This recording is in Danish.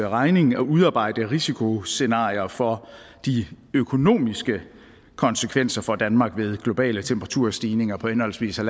regning at udarbejde risikoscenarier for de økonomiske konsekvenser for danmark ved globale temperaturstigninger på henholdsvis en